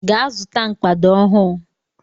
Gaa zụta mkpado ọhụụ!